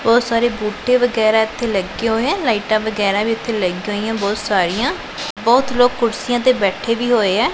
ਬਹੁਤ ਸਾਰੇ ਬੂਟੇ ਵਗੈਰਾ ਇੱਥੇ ਲੱਗੇ ਹੋਏ ਐ ਲਾਈਟਾਂ ਵਗੈਰਾ ਵੀ ਇੱਥੇ ਲੱਗੀਆਂ ਹੋਈਐਂ ਬਹੁਤ ਸਾਰੀਆਂ ਬਹੁਤ ਲੋਕ ਕੁਰਸੀਆਂ ਤੇ ਬੈਠੇ ਵੀ ਹੋਏ ਐ।